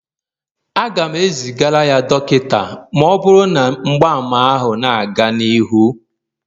Aga m ezigara ya dọkịta ma ọ bụrụ na mgbaàmà ahụ na-aga n'ihu